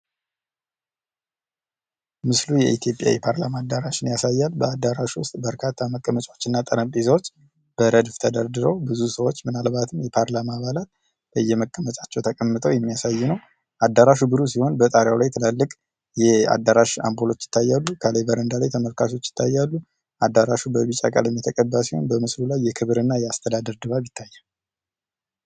ምስሉ የኢትዮጵያ ፓርላማ አዳራሽ ያሳያል። የተለያዩ ወንበሮችና ጠረጴዛዎች ተደርድረው ምን አልባት ብዙ ሰዎች የፓርላማ አባላት ተቀምጠው እናያለን። በጣም ሰፊ አዳራሽ እና የአዳራሽ መብራቶች ይታያል ።አዳራሹ በቢጫ ቀለም የተቀባ ሲሆን የክብር ድባብ ይታያል።